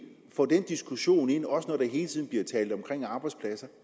få den diskussion ind også når der hele tiden bliver talt om arbejdspladser